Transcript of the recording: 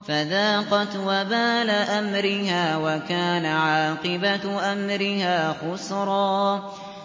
فَذَاقَتْ وَبَالَ أَمْرِهَا وَكَانَ عَاقِبَةُ أَمْرِهَا خُسْرًا